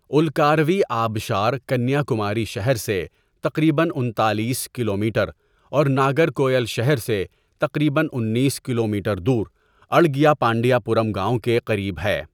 اُلکاروی آبشار کنیا کماری شہر سے تقریباً انتالیس کلومیٹر، اور ناگرکوئل شہر سے تقریباً انیس کلومیٹر دور، اڑگیئپانڈیا پورم گاؤں کے قریب ہے۔